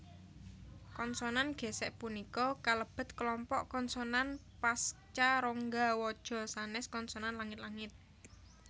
Konsonan ghésèk punika kalebet kelompok konsonan pascarongga waja sanes konsonan langit langit